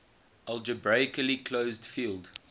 algebraically closed field